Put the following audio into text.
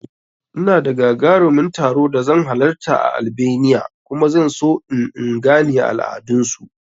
Ina da gagaruman taro da zan halarta a Albania kuma zan so in in gane al'adan su